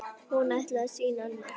Hún ætlaði að sýna annað.